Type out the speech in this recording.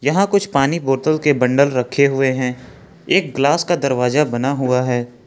यहां कुछ पानी बोतल के बंडल रखे हुए हैं एक ग्लास का दरवाजा बना हुआ है।